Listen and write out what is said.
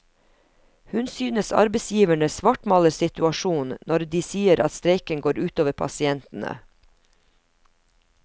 Hun synes arbeidsgiverne svartmaler situasjonen når de sier at streiken går ut over pasientene.